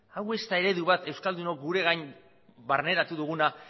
hau ez da ere du bat euskaldunok gure gain barneratu duguna